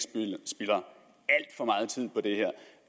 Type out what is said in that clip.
spilder